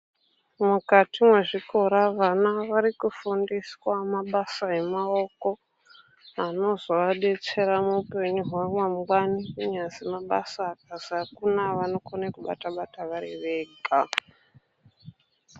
Mukati mwezvikora vana vari kufundiswa mabasa emaoko, anozoadetsera muupenyu hwavo mangwani, kunyazi mabasa akazi akuna, vanokone kubata-bata vari vega .